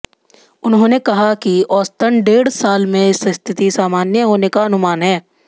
उन्होंने कहा कि औसतन डेढ़ साल में स्थिति सामान्य होने का अनुमान है